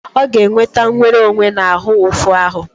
Ọ ga-enweta nwere onwe na ahụ ụfụ ahụ.